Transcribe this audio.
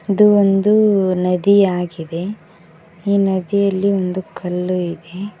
ಇದು ಒಂದು ನದಿಯಾಗಿದೆ ಈ ನದಿಯಲ್ಲಿ ಒಂದು ಕಲ್ಲು ಇದೆ.